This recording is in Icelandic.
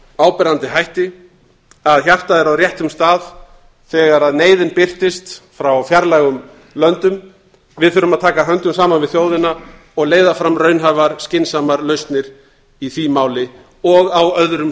áberandi hætti að hjartað er á réttum stað þegar neyðin birtist frá fjarlægum löndum við þurfum að taka höndum saman við þjóðina og leiða fram raunhæfar skynsamar lausnir í því máli og á öðrum